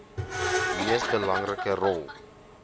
mees belangrike rol